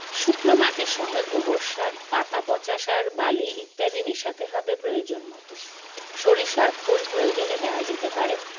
শুকনো মাটির সঙ্গে গোবর সার পাতাপচা সার বালি ইত্যাদি মেশাতে হবে প্রয়োজন মতো সরিষার খোল প্রয়োজনে দেওয়া যেতে পারে